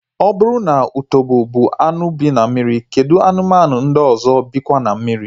Ọ bụrụ na utobo bụ anụ bi na mmiri, kedụ anụmanụ ndị ọzọ bikwa na mmiri?